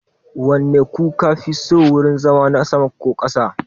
Wanne kuka fi so, wurin zama na sama ko na ƙasa?